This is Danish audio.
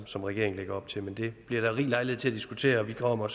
som regeringen lægger op til men det bliver der rig lejlighed til at diskutere og vi kommer